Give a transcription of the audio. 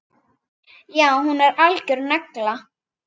Já, hún er algjör negla.